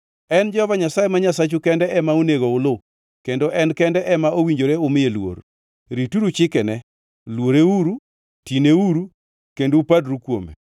En Jehova Nyasaye ma Nyasachu kende ema onego uluw kendo en kende ema owinjore umiye luor. Rituru chikene, luoreuru, tineuru kendo upadru kuome.